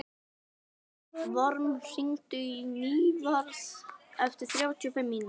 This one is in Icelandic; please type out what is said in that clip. Vorm, hringdu í Nývarð eftir þrjátíu og fimm mínútur.